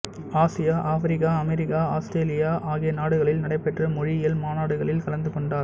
Asia Africa America Australia ஆகிய நாடுகளில் நடைபெற்ற மொழியியல் மாநாடுகளில் கலந்து கொண்டார்